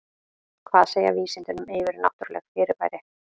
Hvað segja vísindin um yfirnáttúrleg fyrirbæri?